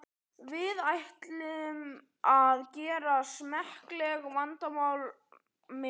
Við ætlum að gera smekklega, vandaða mynd.